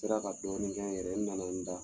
Sera ka dɔɔnin kɛ n yɛrɛ ye,n nana n da.